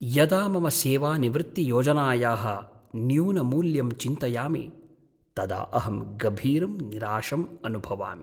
यदा मम सेवानिवृत्तियोजनायाः न्यूनमूल्यं चिन्तयामि तदा अहं गभीरं निराशं अनुभवामि।